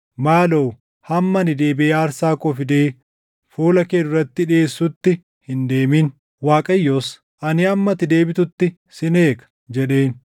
Maaloo hamma ani deebiʼee aarsaa koo fidee fuula kee duratti dhiʼeessutti hin deemin.” Waaqayyos, “Ani hamma ati deebitutti sin eega” jedheen.